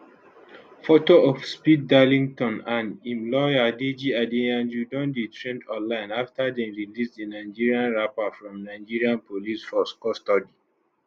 foto of speed darlington and im lawyer deji adeyanju don dey trend online afta dem release di nigerian rapper from nigeria police force custody